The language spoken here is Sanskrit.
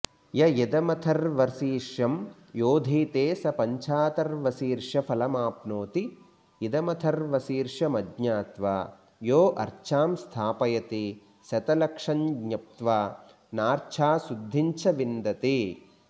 य इदमथर्वशीर्षं योधीते स पञ्चाथर्वशीर्षफलमाप्नोति इदमथर्वशीर्षमज्ञात्वा यो अर्च्चां स्थापयति शतलक्षञ्जप्त्वा नार्चाशुद्धिञ्च विन्दति